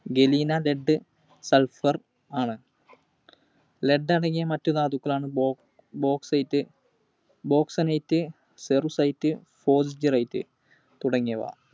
Galena, Lead, Sulphur ആണ്. Lead അടങ്ങിയ മറ്റു ധാതുക്കളാണ് Bauxite, Bauxonite, Cerussite, തുടങ്ങിയവ.